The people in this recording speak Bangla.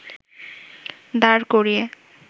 দাঁড় করিয়ে